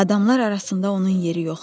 Adamlar arasında onun yeri yoxdur.